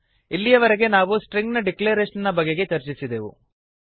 ಇಲ್ಲಿಯವರೆಗೆ ನಾವು ಸ್ಟ್ರಿಂಗ್ ನ ಡಿಕ್ಲರೇಶನ್ ಬಗೆಗೆ ಚರ್ಚಿಸಿದೆವು